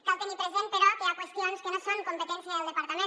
cal tenir present però que hi ha qüestions que no són competència del depar tament